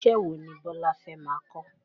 Iṣẹ́ wo ni Bọ́lá fẹ́ máa kọ́?